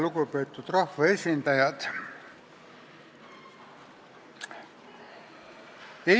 Lugupeetud rahvaesindajad!